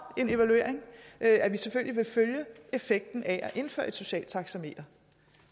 en evaluering og at at vi selvfølgelig vil følge effekten af at indføre et socialt taxameter